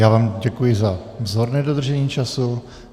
Já vám děkuji za vzorné dodržení času.